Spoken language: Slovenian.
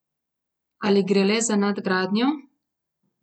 Ali gre le za nadgradnjo?